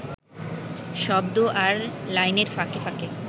শব্দ আর লাইনের ফাঁকে ফাঁকে